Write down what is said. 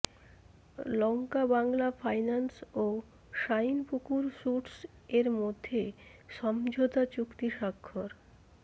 LankaBangla finance ও Shinepukur suites এর মধ্যে সমঝোতা চুক্তি স্বাক্ষর